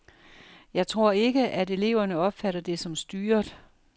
Jeg tror ikke, at eleverne opfatter det som styret.